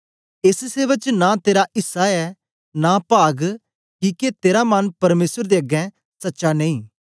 एस सेवा च नां तेरा ऐसा ऐ नां पाग किके तेरा मन परमेसर दे अगें सच्चा नेई